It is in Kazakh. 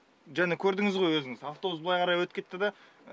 жаңа көрдіңіз ғой өзіңіз автобус былай қарай өтіп кетті да